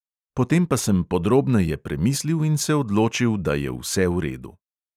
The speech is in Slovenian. Potem pa sem podrobneje premislil in se odločil, da je vse v redu.